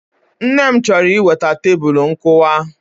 Nne m chọrọ iweta Tebulu nkụwa